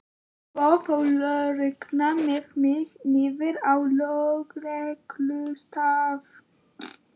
Svo fór löggan með mig niður á lögreglustöð.